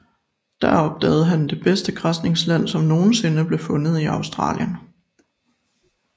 Der opdagede han det bedste græsningsland som nogen sinde blev fundet i Australien